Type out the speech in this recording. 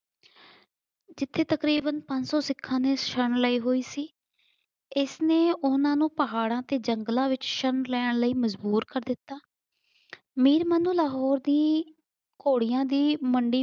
ਜਿਥੇ ਤਕਰੀਬਨ ਪੰਜ ਸੌ ਸਿਖਾਂ ਨੇ ਸ਼ਰਣ ਲਈ ਹੋਈ ਸੀ। ਇਸਨੇ ਉਹਨਾਂ ਨੂੰ ਪਹਾੜਾਂ ਤੇ ਜੰਗਲਾਂ ਵਿੱਚ ਸ਼ਰਨ ਲੈਣ ਲਈ ਮਜ਼ਬੂਰ ਕਰ ਦਿੱਤਾ। ਮੀਰ ਮਨੂੰ ਲਾਹੌਰ ਦੀ ਘੋੜੀਆਂ ਦੀ ਮੰਡੀ